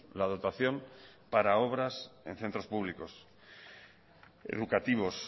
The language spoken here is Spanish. la dotación para obras en centros públicos educativos